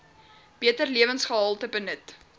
beter lewensgehalte benut